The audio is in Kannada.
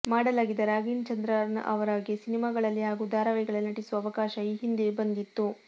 ಮಾಡೆಲ್ ಆಗಿದ್ದ ರಾಗಿಣಿ ಚಂದ್ರನ್ ರವರಿಗೆ ಸಿನಿಮಾಗಳಲ್ಲಿ ಹಾಗೂ ಧಾರಾವಾಹಿಗಳಲ್ಲಿ ನಟಿಸುವ ಅವಕಾಶ ಈ ಹಿಂದೆಯೂ ಬಂದಿತ್ತು